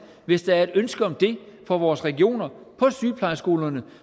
hvis der er et ønske om det fra vores regioner på sygeplejeskolerne